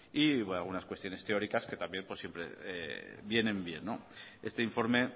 y algunas cuestiones teóricas que también pues siempre vienen bien este informe